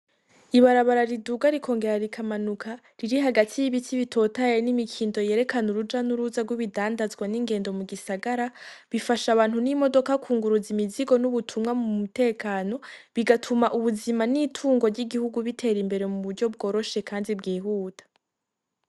Ibarabara riduga rikongera rikamanuka riri hagati y'ibiti bitotaye n'imikindo yerekana uruja n'uruza rw'ibidandazwa n'ingendo mu gisagara bifasha abantu n'imodoka kunguruza imizigo n'ubutumwa mu mutekano bigatuma ubuzima n'itungo ry'igihugu bitera imbere mu buryo bworoshe, kandi bwihuta.